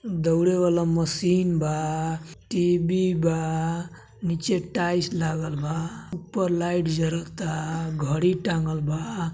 दौड़े वाला मशीन बा टी.वी. बा नीचे टाइल्स लागल बा ऊपर लाइट जरता घडी टाँगल बा।